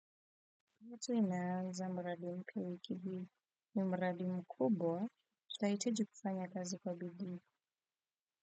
Wazwina zambradim kiwiki ni mbradim kubo zaitu jufanya kazi kabidi.